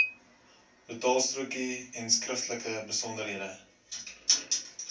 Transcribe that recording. betaalstrokie enskriftelike besonderhede